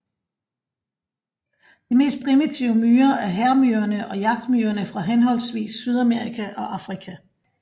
De mest primitive myrer er hærmyrerne og jagtmyrerne fra henholdsvis Sydamerika og Afrika